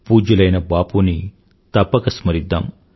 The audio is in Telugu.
పూజ్యులైన బాపూ ని తప్పక స్మరిద్దాం